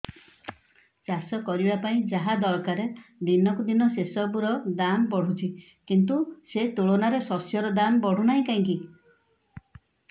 ଚାଷ କରିବା ପାଇଁ ଯାହା ଦରକାର ଦିନକୁ ଦିନ ସେସବୁ ର ଦାମ୍ ବଢୁଛି କିନ୍ତୁ ସେ ତୁଳନାରେ ଶସ୍ୟର ଦାମ୍ ବଢୁନାହିଁ କାହିଁକି